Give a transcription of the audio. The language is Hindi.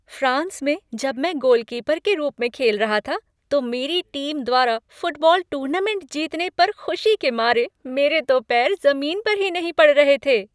फ्रांस में जब मैं गोलकीपर के रूप में खेल रहा था तो मेरी टीम द्वारा फुटबॉल टूर्नामेंट जीतने पर, खुशी के मारे मेरे तो पैर ज़मीन पर ही नहीं पड़ रहे थे।